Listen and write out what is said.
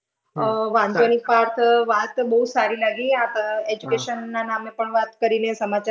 હમમ વાંધો નઈ પાર્થ વાત બહુજ સારી લાગી આપ education ના નામે પણ વાત કરીને તમારો